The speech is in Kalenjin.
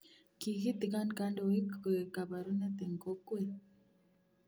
Kigiitigon kandoik koek kabarunet eng kokweet